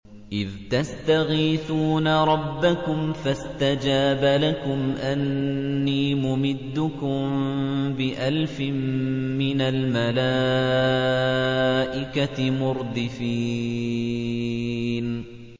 إِذْ تَسْتَغِيثُونَ رَبَّكُمْ فَاسْتَجَابَ لَكُمْ أَنِّي مُمِدُّكُم بِأَلْفٍ مِّنَ الْمَلَائِكَةِ مُرْدِفِينَ